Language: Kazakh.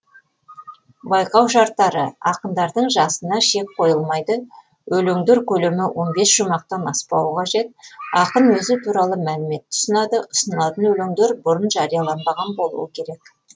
байқау шарттары ақындардың жасына шек қойылмайды өлеңдер көлемі он бес шумақтан аспауы қажет ақын өзі туралы мәліметті ұсынады ұсынылатын өлеңдер бұрын жарияланбаған болуы керек